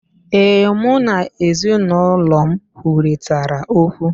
Ee, mụ na ezinụlọ m kwurịtara okwu.